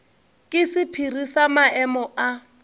ke sephiri sa maemo a